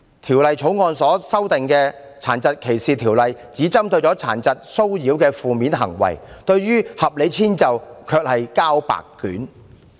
《條例草案》修訂《殘疾歧視條例》，但只針對殘疾騷擾的負面行為，對提供合理遷就卻是"交白卷"。